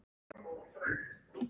Svona huglægt séð.